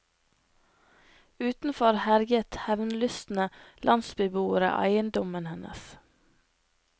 Utenfor herjet hevnlystne landsbyboere eiendommen hennes.